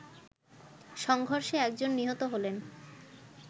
সংঘর্ষে একজন নিহত হলেন